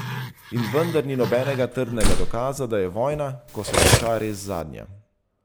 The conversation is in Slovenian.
In vendar ni nobenega trdnega dokaza, da je vojna, ko se konča, res zadnja.